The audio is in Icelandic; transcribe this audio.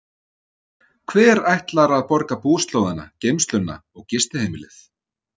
Hver ætlar að borga búslóðina, geymsluna og gistiheimilið?